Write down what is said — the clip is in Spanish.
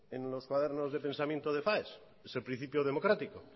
en los cuadernos de pensamiento de faes es el principio democrático